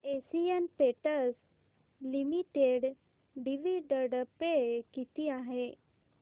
Asian Paints Limited dividend pay किती आहे